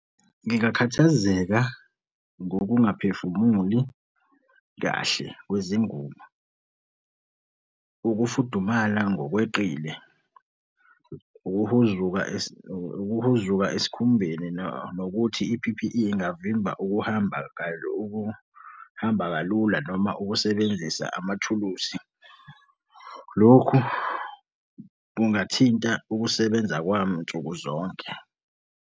Ngingakhathazeka ngokungaphefumuli kahle kwezingubo. Ukufudumala ngokweqile. Ukuhuzuka ukuhuzuka esikhumbeni nokuthi i-P_P_E ingavimba ukuhamba ukuhamba kalula noma ukusebenzisa amathuluzi. Lokhu kungathinta ukusebenza kwami nsuku zonke.